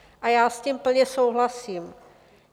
A já s tím plně souhlasím.